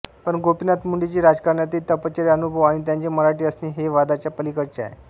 पण गोपीनाथ मुंडेची राजकारणातील तपश्चर्या अनुभव आणि त्यांचे मराठी असणे हे वादाच्या पलीकडचे आहे